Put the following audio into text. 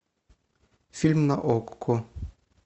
фильм на окко